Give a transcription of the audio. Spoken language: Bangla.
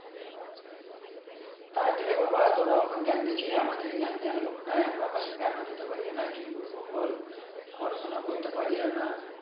তোরা এখন জ্ঞান দিচ্ছিস আমাদের জ্ঞান দেওয়ার লোক না জ্ঞান ও দিতে পারি না কি বলবো বল, পড়াশোনা করতে পারি আর না